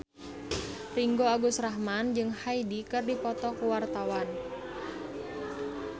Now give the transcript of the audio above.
Ringgo Agus Rahman jeung Hyde keur dipoto ku wartawan